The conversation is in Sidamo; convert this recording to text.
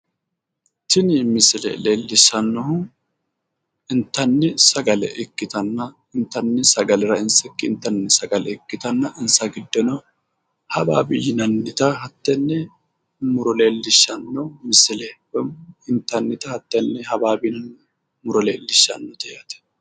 Tin misile leelishanohu intanni sagale ikkitana, initanni sagale rainsikkinni intanni sagale ikkitanna, insa giddonnino hawawe yinanita hattene muro leelishano misileti woy intanta hattene hawawe misile leelishano